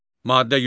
Maddə 102.